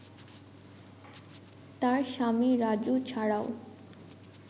তার স্বামী রাজু ছাড়াও